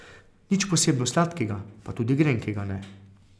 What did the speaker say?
Nič posebno sladkega, pa tudi grenkega ne.